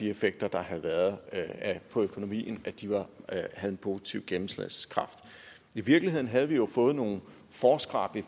effekter der havde været på økonomien havde en positiv gennemslagskraft i virkeligheden havde vi jo fået nogle forskræp i